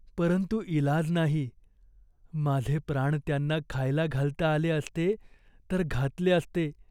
परंतु इलाज नाही. माझे प्राण त्यांना खायला घालता आले असते, तर घातले असते.